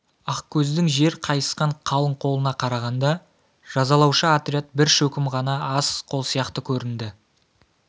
ақкөздің жер қайысқан қалың қолына қарағанда жазалаушы отряд бір шөкім ғана аз қол сияқты көрінді